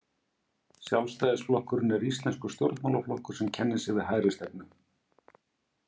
Sjálfstæðisflokkurinn er íslenskur stjórnmálaflokkur sem kennir sig við hægristefnu.